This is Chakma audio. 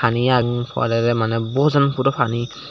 paniyan poley daw maneh bojan puro pani.